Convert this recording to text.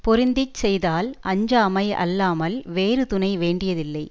பொருந்தி செய்தால் அஞ்சாமை அல்லாமல் வேறு துணை வேண்டியதில்லை